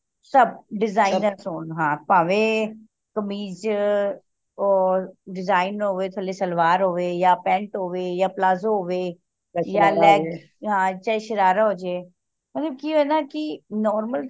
ਸਭ designer ਹੋਣ ਹਨ ਭਾਵੇਂ ਕਮੀਜ ਓਰ design ਹੋਵੇ ਥੱਲੇ ਸਲਵਾਰ ਹੋਵੇ ਯਾ ਥੱਲੇ ਪੈਂਟ ਹੋਵੇ ਯਾ ਪਲਾਜ਼ੋ ਹੋਵੇ ਹਾਂ ਚਾਹੇ ਸ਼ਰਾਰਾ ਹੋਜੇ ਮਤਲਬ ਕਿ ਹੈ ਨਾ ਕਿ normal